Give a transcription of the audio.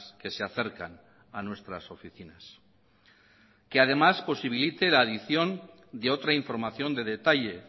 que se acercan a nuestras oficinas que además posibilite la adición de otra información de detalle